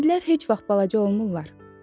Axı fillər heç vaxt balaca olmurlar.